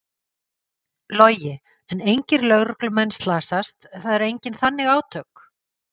Logi: En engir lögreglumenn slasast, það eru engin þannig átök?